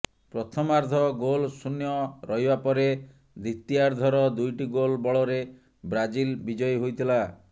ପ୍ରଥମାର୍ଧ goal ଶୂନ୍ୟ ରହିବା ପରେ ଦ୍ୱିତୀୟାର୍ଧର ଦୁଇଟି ଗୋଲ୍ ବଳରେ ବ୍ରାଜିଲ ବିଜୟୀ ହୋଇଥିଲା